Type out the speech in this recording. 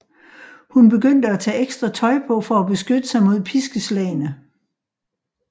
Hun begyndte at tage ekstra tøj på for at beskytte sig mod piskeslagene